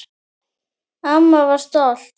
Amma var stolt.